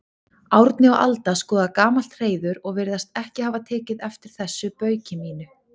Árni og Alda skoða gamalt hreiður og virðast ekki hafa tekið eftir þessu bauki mínu.